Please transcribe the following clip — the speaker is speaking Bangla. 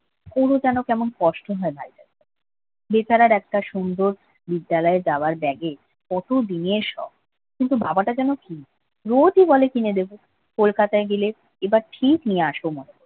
ওরও কেন কেমন কষ্ট হয় ভাইটা বেচারা একটা সুন্দর বিদ্যালয়ে যাওয়ার ব্যাগে কত দিনের শখ কিন্তু বাবাটা যেন কী রোজি বলে কিনে দেবে কলকাতায় গেলে এবার ঠিক নিয়ে আসবো